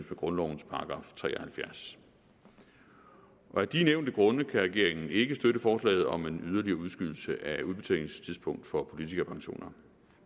grundlovens § tre og halvfjerds af de nævnte grunde kan regeringen ikke støtte forslaget om en yderligere udskydelse af udbetalingstidspunktet for politikerpensioner